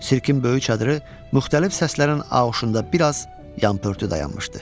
Sirkin böyük çadırı müxtəlif səslərin auşunda bir az yan-pörtü dayanmışdı.